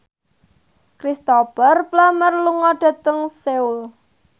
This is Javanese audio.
Cristhoper Plumer lunga dhateng Seoul